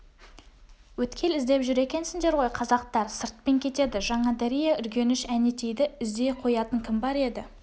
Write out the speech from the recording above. өткел іздеп жүр екенсіңдер ғой қазақтар сыртпен кетеді жаңадария үргеніш әнетейді іздей қоятын кім бар еді